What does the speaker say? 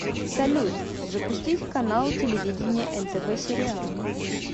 салют запустить канал телевидения нтв сериал